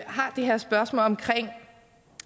har et spørgsmål om